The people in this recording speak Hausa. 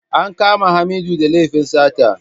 An kama Hamidu da laifin sata.